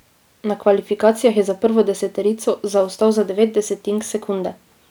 Na kvalifikacijah je za prvo deseterico zaostal za devet desetink sekunde.